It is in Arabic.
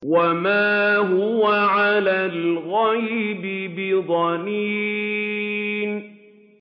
وَمَا هُوَ عَلَى الْغَيْبِ بِضَنِينٍ